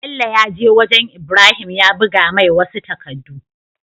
Bello yaje wajan ibrahim ya buga mai wasu takadu